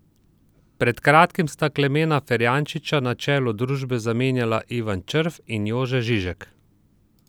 Pred kratkim sta Klemena Ferjančiča na čelu družbe zamenjala Ivan Črv in Jože Žižek.